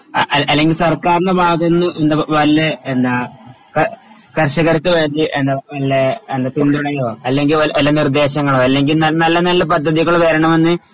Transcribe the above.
അ അ അല്ലെങ്കിൽ സർക്കാരിൻറെ ഭാഗത്തുനിന്ന് എന്ത് വല്ല എന്നാ ക കർഷകർക്കുവേണ്ടി എന്ന നല്ല പിന്തുണയോ അല്ലെങ്കിൽ നല്ല നിർദ്ദേശങ്ങളോ അല്ലെങ്കിൽ നല്ല നല്ല പദ്ധതികൾ വരണമെന്ന്